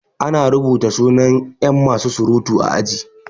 Ana rubuta suna yan masu surutu a aji